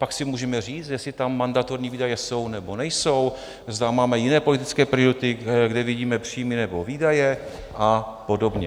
Pak si můžeme říct, jestli tam mandatorní výdaje jsou, nebo nejsou, zda máme jiné politické priority, kde vidíme příjmy nebo výdaje a podobně.